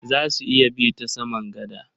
Za su iya bi ta saman gada?